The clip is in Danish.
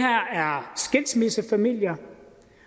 her er skilsmissefamilier